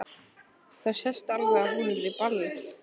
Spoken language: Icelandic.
Það sést alveg að hún er í ballett.